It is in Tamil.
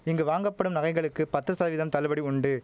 இங்கு வாங்கப்படும் நகைகளுக்கு பத்து சதவீதம் தள்ளுபடி உண்டு